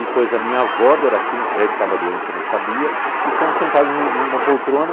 E pôs a minha avó, Doracina, que já estava doente, eu não sabia, e fomos sentados em um em uma poltrona